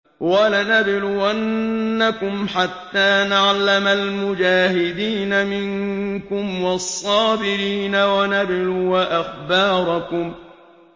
وَلَنَبْلُوَنَّكُمْ حَتَّىٰ نَعْلَمَ الْمُجَاهِدِينَ مِنكُمْ وَالصَّابِرِينَ وَنَبْلُوَ أَخْبَارَكُمْ